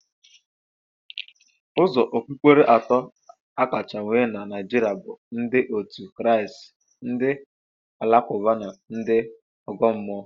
Ụzọ okpukpere atọ akacha nwee na Naịjiria bụ ndị otu Kraịst, ndị Alakụba na ndị Ọ̀gọ́ mmụọ